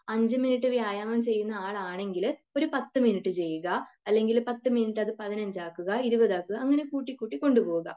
5 minute വ്യായാമം ചെയ്യുന്ന ആളാണെങ്കിൽ ഒരു 10 മിനുട്ട് ചെയ്യുക. അല്ലെങ്കിൽ 10 മിനുട്ട് അത് 15 ആക്കുക 20 ആക്കുക അങ്ങനെ കൂട്ടികൂട്ടി കൊണ്ടുപോവുക.